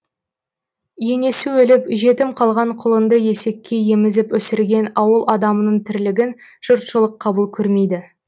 енесі өліп жетім қалған құлынды есекке емізіп өсірген ауыл адамының тірлігін жұртшылық қабыл көрмейді